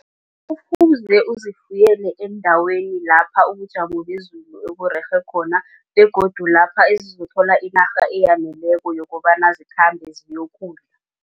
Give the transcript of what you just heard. Kufuze uzifuyele eendaweni lapha ubujamo bezulu oburerhe khona begodu lapha ezizothola inarha eyaneleko yokobana zikhambe